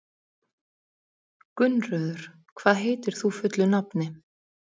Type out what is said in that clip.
Gunnröður, hvað heitir þú fullu nafni?